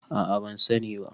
a a ban sani ba